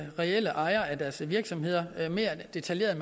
reelle ejere af deres virksomheder mere detaljeret